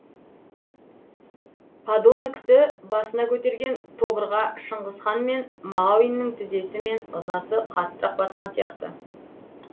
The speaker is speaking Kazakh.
подонокті басына көтерген тобырға шыңғыс хан мен мағауиннің тізесі мен ызасы қаттырақ батқан сияқты